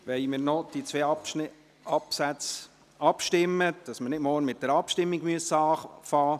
Wir stimmen noch über die beiden Absätze ab, damit wir morgen nicht mit einer Abstimmung beginnen müssen.